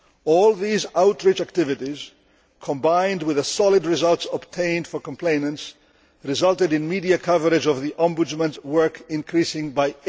all these outreach activities, combined with the solid results obtained for complainants, resulted in median coverage of the Ombudsman's work increasing